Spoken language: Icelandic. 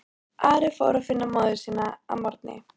Ari fór að finna móður sína að morgni.